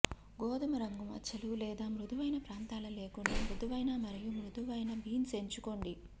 గోధుమ రంగు మచ్చలు లేదా మృదువైన ప్రాంతాల లేకుండా మృదువైన మరియు మృదువైన బీన్స్ ఎంచుకోండి